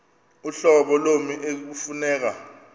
uhlobo lommi ekufuneka